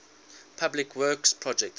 public works projects